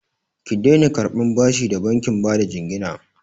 Ki daina karɓan bashi da bankin bada jingina!